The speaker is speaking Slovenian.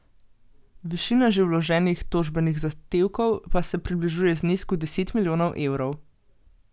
Višina že vloženih tožbenih zahtevkov pa se približuje znesku deset milijonov evrov.